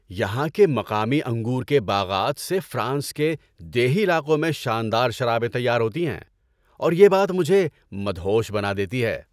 یہاں کے مقامی انگور کے باغات سے فرانس کے دیہی علاقوں میں شاندار شرابیں تیار ہوتی ہیں اور یہ بات مجھے مدہوش بنا دیتی ہے۔